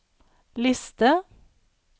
liste